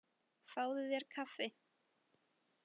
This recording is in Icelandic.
Fáðu þér kaffi.